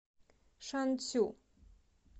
шанцю